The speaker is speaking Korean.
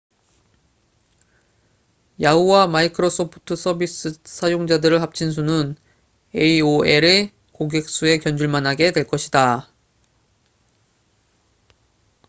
야후!와 마이크로소프트 서비스 사용자들을 합친 수는 aol의 고객 수에 견줄 만하게 될 것이다